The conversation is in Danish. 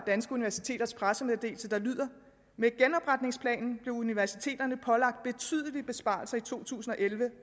danske universiteters pressemeddelelse der lyder med genopretningsplanen blev universiteterne pålagt betydelige besparelser i to tusind og elleve